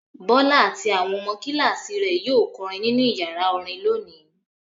Bọ́lá àti àwọn ọmọ kíláàsì rẹ̀ yóò kọrin nínú ìyàrá orin lónìí.